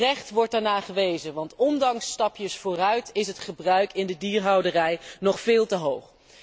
Terecht wordt daarnaar gewezen, want ondanks stapjes vooruit is het gebruik in de dierhouderij nog veel te hoog.